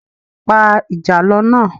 Pa ìjàlọ náà